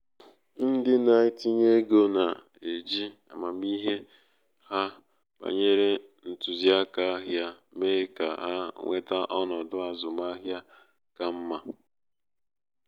ndị na-etinye ego na-eji amamihe ha banyere ntụziaka ahịa mee ka ha nweta ọnọdụ azụmaahịa ka mma.